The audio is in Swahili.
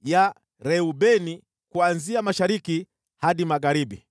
ya Reubeni kuanzia mashariki hadi magharibi.